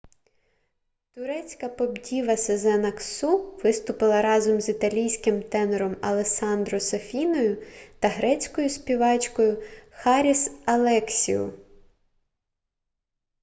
турецька поп-діва сезен аксу виступила разом з італійським тенором алессандро сафіною та грецькою співачкою харіс алексіу